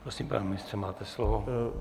Prosím, pane ministře, máte slovo.